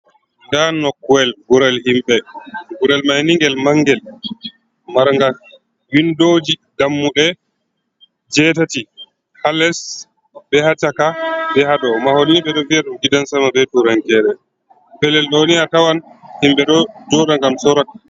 Ndaa nokkuyel gurel ,himɓe gurel may ni ngel mangel maranga winndooji ,dammuɗe jetati haa les be haa caka be haa dow .Mahol ni ɓe ɗo wi'a ɗum gidan sama be turankere .Pellel ɗoni a tawan himɓe ɗo joɗa ngam sora.